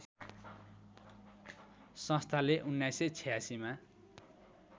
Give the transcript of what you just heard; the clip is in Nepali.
संस्थाले १९८६मा